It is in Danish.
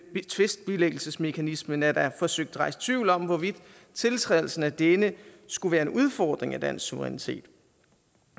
tvistbilæggelsesmekanismen er der forsøgt rejst tvivl om hvorvidt tiltrædelsen af denne skulle være en udfordring af dansk suverænitet